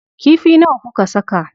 Kifi nawa kuka saka?